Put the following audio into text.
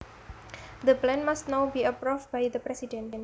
The plan must now be approved by the president